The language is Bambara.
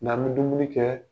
N'an bɛ dumuni kɛ